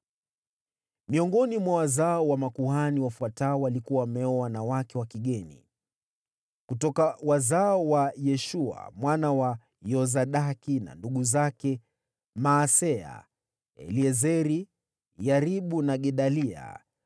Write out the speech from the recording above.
Miongoni mwa wazao wa makuhani, wafuatao walikuwa wameoa wanawake wa kigeni: Kutoka wazao wa Yeshua mwana wa Yosadaki na ndugu zake: Maaseya, Eliezeri, Yaribu na Gedalia.